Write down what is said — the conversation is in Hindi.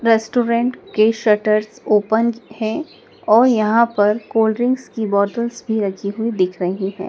रेस्टोरेंट के शटर्स ओपन हैं और यहां पर कोल्ड ड्रिंक्स की बॉटल्स भी रखी हुई दिख रही हैं।